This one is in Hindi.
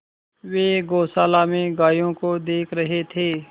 वे गौशाला में गायों को देख रहे थे